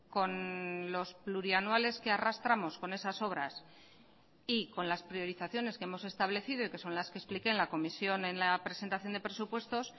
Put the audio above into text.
con los plurianuales que arrastramos con esas obras y con las priorizaciones que hemos establecido y que son las que expliqué en la comisión en la presentación de presupuestos